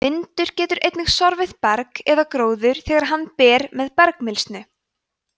vindur getur einnig sorfið berg eða gróður þegar hann ber með bergmylsnu